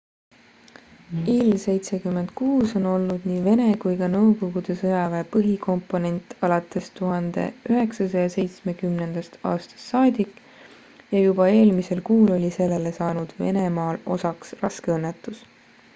ii-76 on olnud nii vene kui ka nõukogude sõjaväe põhikomponent alates 1970 aastast saadik ja juba eelmisel kuul oli sellele saanud venemaal osaks raske õnnetus